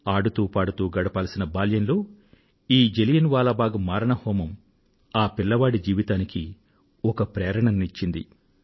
ఆడుతూ పాడుతూ గడపాల్సిన బాల్యంలో ఈ జలియన్ వాలా బాగ్ మారణహోమం ఆ పిల్లవాడి జీవితానికి ఒక ప్రేరణను ఇచ్చింది